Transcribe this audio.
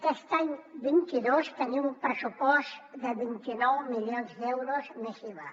aquest any vint dos tenim un pressupost de vint nou milions d’euros més iva